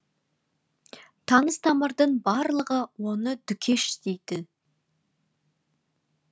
таныс тамырдың барлығы оны дүкеш дейді